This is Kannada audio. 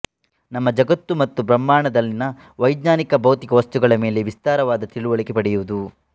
ನಮ್ಮ ಜಗತ್ತು ಮತ್ತು ಬ್ರಹ್ಮಾಂಡದಲ್ಲಿನ ವೈಜ್ಞಾನಿಕ ಭೌತಿಕ ವಸ್ತುಗಳ ಮೇಲೆ ವಿಸ್ತಾರವಾದ ತಿಳಿವಳಿಕೆ ಪಡೆಯುವುದು